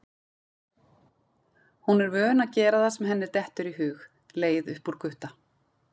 Hún er vön að gera það sem henni dettur í hug, leið upp úr Gutta.